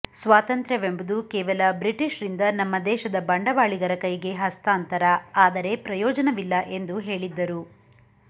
ಸ್ವಾತಂತ್ರ್ಯವೆಂಬುದು ಕೇವಲ ಬ್ರಿಟಿಷ್ರಿಂದ ನಮ್ಮ ದೇಶದ ಬಂಡವಾಳಿಗರ ಕೈಗೆ ಹಸ್ತಾಂತರ ಆದರೆ ಪ್ರಯೋಜನವಿಲ್ಲ ಎಂದು ಹೇಳಿದ್ದರು